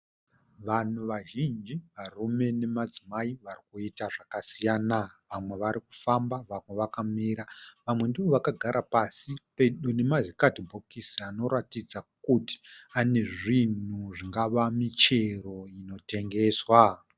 Vanhu vazhinji varume nemadzimai Varikuita zvakasiyana . Vamwe varikufamba vamwe vakamira. Vamwe ndivo vakagara pasi pedo nema zi kadhibhokisi anoratdza kuti ane zvinhu zvingava michero inotengeswa.